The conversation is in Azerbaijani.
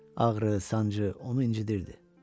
Ağrı, sancı onu incitirdi.